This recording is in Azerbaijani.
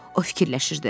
O fikirləşirdi.